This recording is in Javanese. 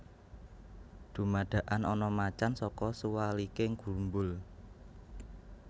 Dumadakan ana macan saka suwaliking grumbul